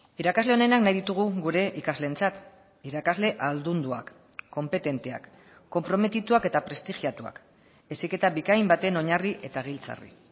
irakasle onenak nahi ditugu gure ikasleentzat irakasle ahaldunduak konpetenteak konprometituak eta prestigiatuak heziketa bikain baten oinarri eta giltzarri